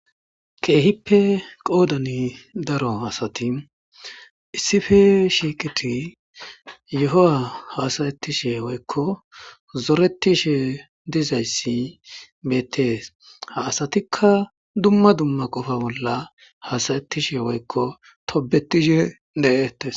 keehippe qoodani daro asati issife shiikiti yohoa hasayettishe woykko zoretishe dizayssi beettees ha asatikka dumma dumma qofa bolla hasayettishe woykko tobetishe de'etes